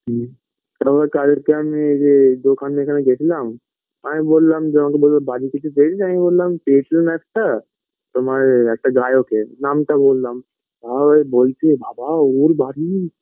হুম কেন বলতো তাদেরকে আমি এই যে দোকানে এখানে গেছিলাম আমি বোললাম যে আমাকে বললো বাড়িটা একটু দেখবে আমি বোললাম tension একটা তোমার একটা গায়কের নামটা বোললাম তা ওরা বলছে বাবা ওর বাড়ি